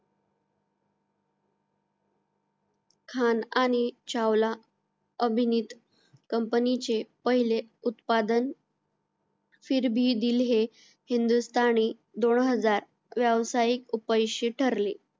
खान आणि चावला अभिनेत company चे पहिले उत्पादन फार भी दिल हे हिंदुस्तानी दोन हजार व्यावसायिक उपयशी ठरले